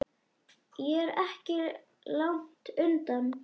Ég er ekki langt undan.